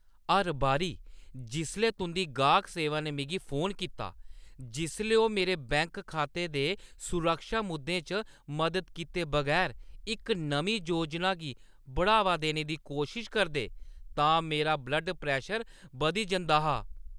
हर बारी जिसलै तुंʼदी गाह्क सेवा ने मिगी फोन कीता, जिसलै ओह् मेरे बैंक खाते दे सुरक्षा मुद्दें च मदद कीते बगैर इक नमीं योजना गी बढ़ावा देने दी कोशश करदे तां मेरा ब्लड प्रैशर बधी जंदा हा।